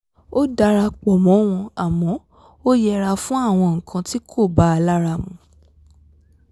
ó dara pọ̀ mọ́ wọn àmọ́ ó yẹra fún àwọn nǹkan tí kò ba lárá mu